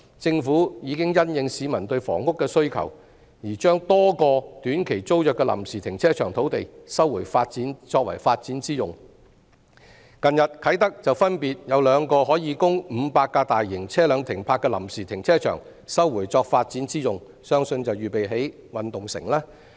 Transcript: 政府已經因應市民對房屋的需求，而將多個短期租約的臨時停車場土地收回作發展之用；近日啟德分別有兩個可供500架大型車輛停泊的臨時停車場，被收回作發展之用，相信是預備興建體育園區。